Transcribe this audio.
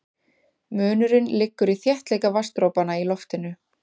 Munurinn liggur í þéttleika vatnsdropanna í loftinu.